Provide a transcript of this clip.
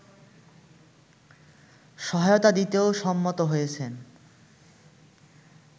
সহায়তা দিতেও সম্মত হয়েছেন